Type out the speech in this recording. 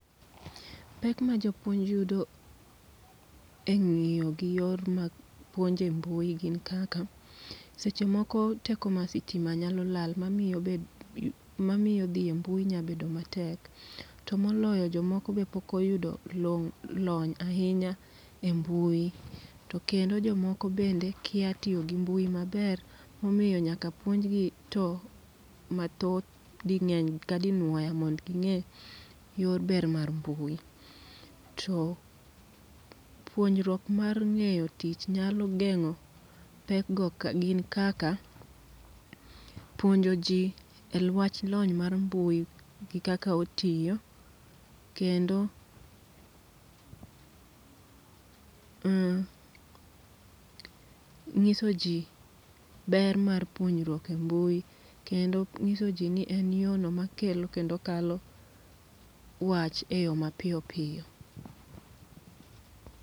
Pek ma japuonj yudo e ng'iyo gi yor mag puonje mbui gin kaka: seche moko teko mar sitima nyalo lal ma miyo dhi e mbui nya bedo matek. To moloyo jomoko be pokoyudo long' lony ahinya e mbui. To kendo jomoko bende kia tiyo gi mbui maber, momiyo nyaka puonjgi to mathoth ding'eny ka dinuoya mondo ging'e yor ber mar mbui. To puonjruok mar ng'eyo tich nyalo geng'o pekgo gin kaka, puonjo ji e lwach lony mar mbui gi kaka otiyo. Kendo, uh, ng'iso ji ber mar puonjruok e mbui. Kendo ng'iso ji ni en yo no makelo kendo kalo wach e yo mapiyo piyo.